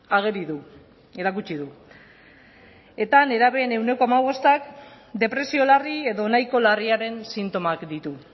ageri du erakutsi du eta nerabeen ehuneko hamabostak depresio larri edo nahiko larriaren sintomak ditu